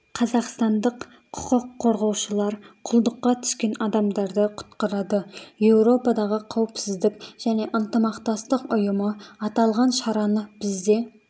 қазақстандық құқық қорғаушылар құлдыққа түскен адамдарды құтқарады еуропадағы қауіпсіздік және ынтымақтастық ұйымы аталған шараны бізде